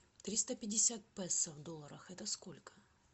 триста пятьдесят песо в долларах это сколько